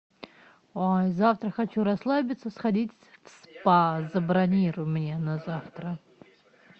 завтра хочу расслабиться сходить в спа забронируй мне на завтра